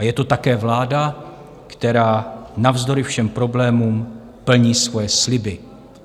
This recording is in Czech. A je to také vláda, která navzdory všem problémům plní svoje sliby.